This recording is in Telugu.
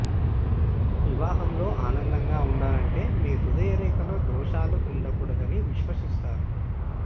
వివాహంలో ఆనందంగా ఉండాలంటే మీ హృదయ రేఖలో దోషాలు ఉండకూడదని విశ్వసిస్తారు